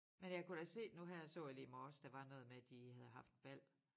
Men jeg kunne da se nu her så jeg lige i morges der var noget med at de havde haft bal